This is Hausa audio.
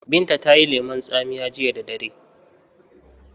Binta tayi lemon tsamiya jiya da dare